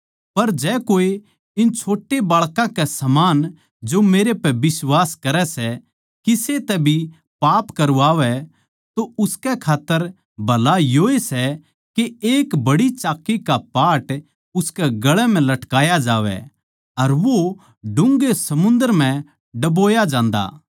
पर जो कोए इन छोट्या बाळकां समान जो मेरै पै बिश्वास करै सै किसे तै भी पाप करवावै तो उसकै खात्तर भला योए सै के एक बड्डी चाक्की का पाट उसकै गळ म्ह लटकाया जावै अर वो डून्घे समुन्दर म्ह डबोया जान्दा